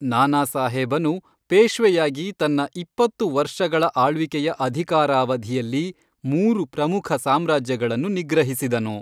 ನಾನಾಸಾಹೇಬನು, ಪೇಶ್ವೆಯಾಗಿ ತನ್ನ ಇಪ್ಪತ್ತು ವರ್ಷಗಳ ಆಳ್ವಿಕೆಯ ಅಧಿಕಾರಾವಧಿಯಲ್ಲಿ ಮೂರು ಪ್ರಮುಖ ಸಾಮ್ರಾಜ್ಯಗಳನ್ನು ನಿಗ್ರಹಿಸಿದನು.